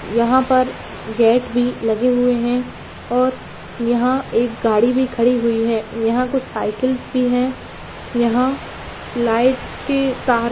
यहाँ पर गेट भी लगे हुए है और यहाँ एक गाड़ी भी खड़ी हुई है यहाँ कुछ साइकल्स भी है यहाँ लाइट के तार --